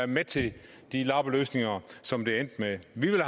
med til de lappeløsninger som det endte med vi ville